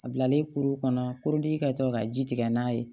A bilalen kuru kɔnɔ ka to ka ji tigɛ n'a ye